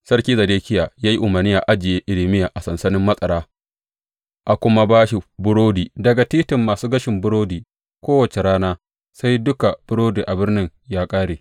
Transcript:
Sarki Zedekiya ya yi umarni a ajiye Irmiya a sansanin matsara a kuma ba shi burodi daga titin masu gashin burodi kowace rana sai duka burodi a birnin ya ƙare.